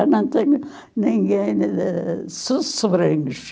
Já não tenho ninguém de so sobrinhos.